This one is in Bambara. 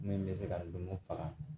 Min bɛ se ka ndomu faga